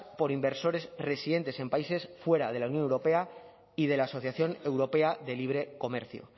por inversores residentes en países fuera de la unión europea y de la asociación europea de libre comercio